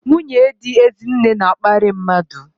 Nwunye dị Ezinne na-akparị mmadụ.